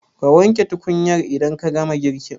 Ka wanke tukunyar idan ka gama girkin.